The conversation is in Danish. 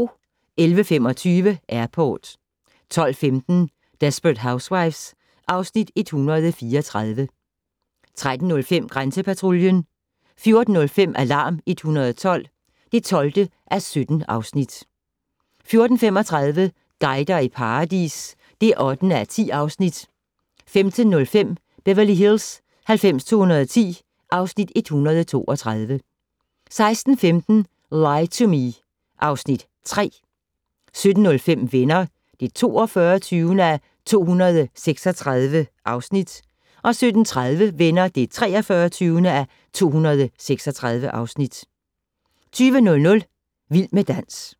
11:25: Airport 12:15: Desperate Housewives (Afs. 134) 13:05: Grænsepatruljen 14:05: Alarm 112 (12:17) 14:35: Guider i paradis (8:10) 15:05: Beverly Hills 90210 (Afs. 132) 16:15: Lie to Me (Afs. 3) 17:05: Venner (42:236) 17:30: Venner (43:236) 20:00: Vild med dans